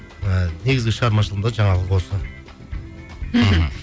і негізгі шығармашылығымда жаңалық осы мхм